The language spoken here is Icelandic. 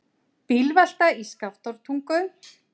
Bílvelta í Skaftártungu